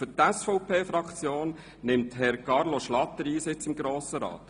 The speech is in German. Für die SVP-Fraktion nimmt Herr Carlo Schlatter Einsitz in den Grossen Rat.